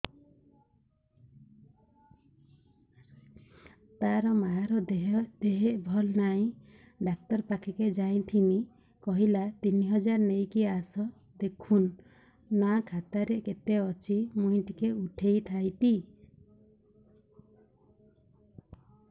ତାର ମାର ଦେହେ ଭଲ ନାଇଁ ଡାକ୍ତର ପଖକେ ଯାଈଥିନି କହିଲା ତିନ ହଜାର ନେଇକି ଆସ ଦେଖୁନ ନା ଖାତାରେ କେତେ ଅଛି ମୁଇଁ ଟିକେ ଉଠେଇ ଥାଇତି